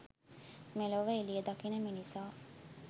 මෙලොව එළිය දකින මිනිසා